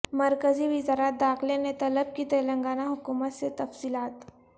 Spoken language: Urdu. مرکزی وزارت داخلہ نے طلب کی تلنگانہ حکومت سے تفصیلات